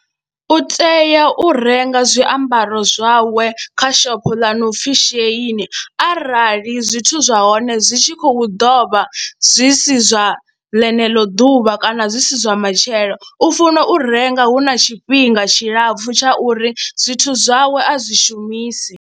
U tea u renga zwiambaro zwawe kha shopho ḽa no pfhi Shein arali zwithu zwa hone zwi tshi khou ḓo vha zwi si zwa ḽeneḽo ḓuvha kana zwi si zwa matshelo u funa u renga hu na tshifhinga tshilapfhu tsha uri zwithu zwawe a zwi shumisi.